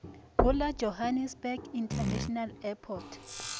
go la johannesburg international airport